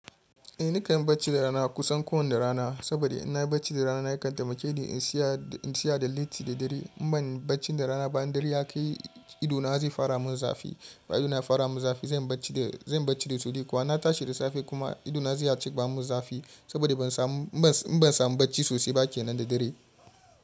Eh ni kan yi bacci da rana kusan kowanne rana, saboda in na yi bacci da rana na yakan taimake ni in tsaya da letti da dare. In ban bacci da rana ba'in dare ya ka yi ido na zai fara mun zafi. Idona ya fara mun zafi zan yi bacci da sauri kuwa in na tashi da safe kuma ido na zai cika mun zafi saboda ban samu bacci sosai ba kenan da dare.